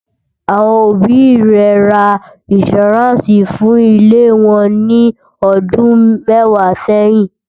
àwọn òbí ré rà insuranci fún ilé wón ní ọdún mẹwàá sẹyìn